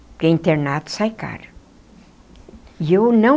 Porque internato sai caro e eu não.